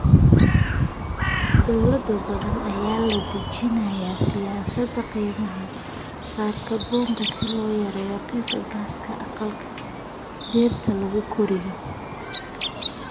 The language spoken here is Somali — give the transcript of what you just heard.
Dawlado badan ayaa dejinaya siyaasadaha qiimaha kaarboonka si loo yareeyo qiiqa gaaska aqalka dhirta lagu koriyo.